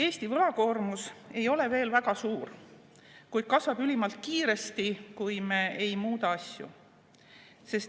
Eesti võlakoormus ei ole veel väga suur, kuid kasvab ülimalt kiiresti, kui me ei muuda asju.